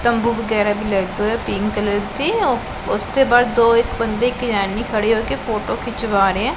ਤੰਬੂ ਵਗੈਰਾ ਵੀ ਲੱਗੇ ਹੋਏ ਹੈ ਪਿੰਕ ਕਲਰ ਦੇ ਹੈਂ ਓਹ ਓਸਦੇ ਬਾਹਰ ਦੋ ਇੱਕ ਬੰਦੇ ਖੜੇ ਹੋ ਕੇ ਫ਼ੋਟੋ ਖਿੰਚਵਾ ਰਹੇ ਹੈਂ।